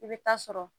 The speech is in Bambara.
I bɛ taa sɔrɔ